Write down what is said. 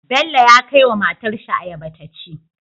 Bello ya kai wa matar shi ayaba taci